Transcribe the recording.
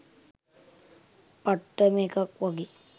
පට්ටම එකක් වගේ